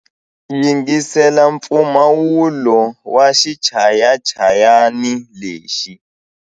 Yingisela mpfumawulo wa xichayachayani lexi.